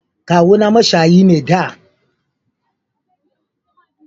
Kawu na mashayi ne da